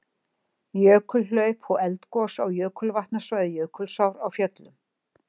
Jökulhlaup og eldgos á jökulvatnasvæði Jökulsár á Fjöllum.